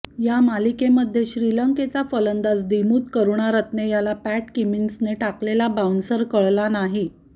या मालिकेमध्ये श्रीलंकेचा फलंदाज दिमूथ करूणारत्ने याला पॅट कमिन्सने टाकलेला बाऊन्सर कळाला नाही